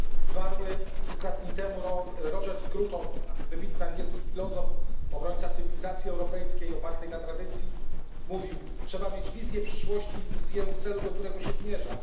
Zmarły kilka dni temu Roger Scruton, wybitny angielski filozof, obrońca cywilizacji europejskiej opartej na tradycji, mówił Trzeba mieć wizję przyszłości i wizję celu, do którego się zmierza.